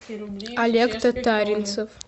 олег татаринцев